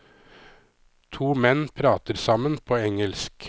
To menn prater sammen på engelsk.